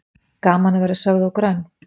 Gaman að vera sögð of grönn